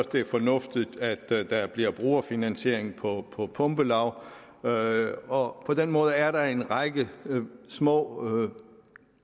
det er fornuftigt at der bliver brugerfinansiering på på pumpelag og og på den måde er der en række små